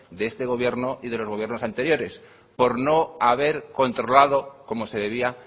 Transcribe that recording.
de este gobierno y de los gobiernos anteriores por no haber controlado como se debía